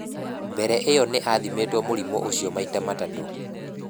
Mbere ĩyo nĩ athimĩtũo mũrimũ ũcio maita matatũ.